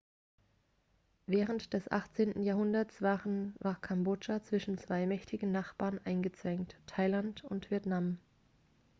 während des 18. jahrhunderts war kambodscha zwischen zwei mächtigen nachbarn eingezwängt thailand und vietnam